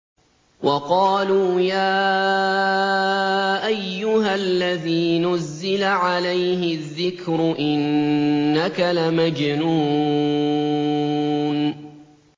وَقَالُوا يَا أَيُّهَا الَّذِي نُزِّلَ عَلَيْهِ الذِّكْرُ إِنَّكَ لَمَجْنُونٌ